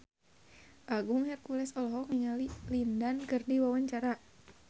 Agung Hercules olohok ningali Lin Dan keur diwawancara